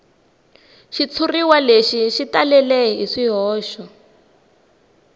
xitshuriwa xi talele hi swihoxo